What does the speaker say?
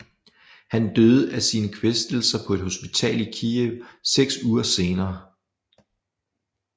Han døde af sine kvæstelser på et hospital i Kijev seks uger senere